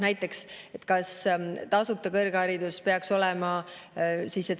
Näiteks, kas kõrgharidus peaks tasuta olema?